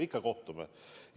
Ikka kohtume!